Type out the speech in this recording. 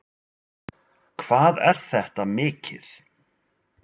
Þorbjörn Þórðarson: Hvað er þetta mikið?